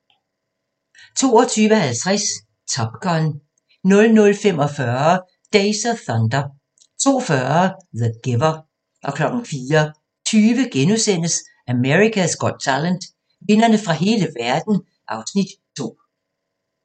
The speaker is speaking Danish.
22:50: Top Gun 00:45: Days of Thunder 02:40: The Giver 04:20: America's Got Talent - vindere fra hele verden (Afs. 2)*